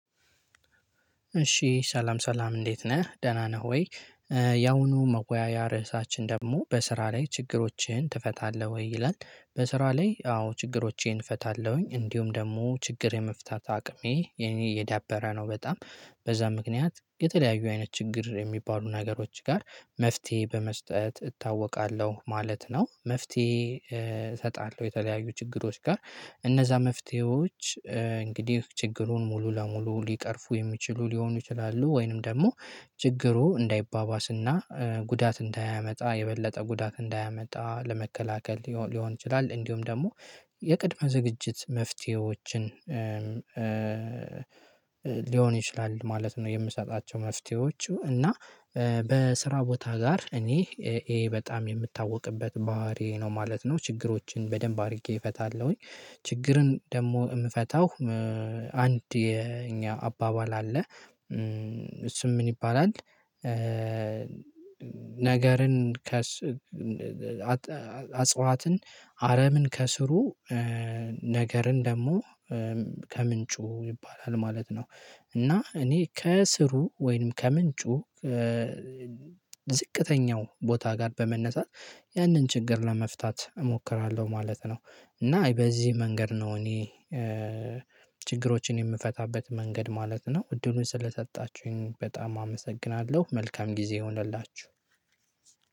እሺ ሰላም ሰላም እንዴት ነህ ደህና ነህ ወይ? ያሁኑ መወያያ ርዕሳችን ደግሞ በስራ ላይ ችግሮችህን ትፈታለህ ወይ ይላል? በስራ ላይ አዎ ችግሮቼን እፈታለሁኝ እንዲሁም ደግሞ ችግር የመፍታት አቅሜ የኔ የዳበረ ነው በጣም በዛ ምክንያት የተለያዩ አይነት ችግር የሚባሉ ነገሮች ጋር መፍትሄ በመስጠት እታወቃለሁ ማለት ነው። መፍትሄ እሰጣለሁ የተለያዩ ችግሮች ጋር እነዛ መፍትሄዎች። እንግዲህ ችግሩን ሙሉ ለሙሉ ሊቀርፉ የሚችሉ ሊሆኑ ይችላሉ ወይንም ደግሞ ችግሩ እንዳይባባስና ጉዳት እንዳያመጣ የበለጠ ጉዳት እንዳያመጣ ለመከላከል ሊሆን ይችላል እንዲሁም ደግሞ የቅድመ ዝግጅት መፍትሄዎችን ሊሆን ይችላል ማለት ነው። የምሰጣቸው መፍትሄዎቹ እና በስራ ቦታ ጋር እኔ ይሄ በጣም የምታወቅበት ባህሪ ነው ማለት ነው። ችግሮችን በደንብ አድርጌ እፈታለሁኝ። ችግርን ደግሞ የምፈታው አንድ የኛ አባባል አለ እሱም ምን ይባላል? ነገርን ከ አጽዋትን አረምን ከስሩ ነገርን ደግሞ ከምንጩ ይባላል ማለት ነው። እና እኔ ከስሩ ወይንም ከምንጩ ዝቅተኛው ቦታ ጋር በመነሳት ያንን ችግር ለመፍታት እሞክራለሁ ማለት ነው። እና በዚህ መንገድ ነው እኔ ችግሮችን የምፈታበት መንገድ ማለት ነው። እድሉን ስለሰጣችሁኝ በጣም አመሰግናለሁ መልካም ጊዜ ይሁንላችሁ።